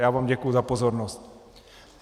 Já vám děkuji za pozornost.